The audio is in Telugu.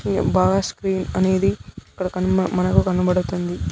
ఇంగా బాగా స్క్రీన్ అనేది ఇక్కడ కన్-- మనకు కనబడుతుంది.